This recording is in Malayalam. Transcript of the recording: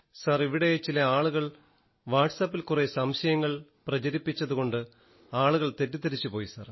സർ ഇവിടെ ചില ആളുകൾ വാട്സാപ്പിൽ കുറെ സംശയങ്ങൾ പ്രചരിപ്പിച്ചതുകൊണ്ട് ആളുകൾ തെറ്റിദ്ധരിച്ചു പോയി സർ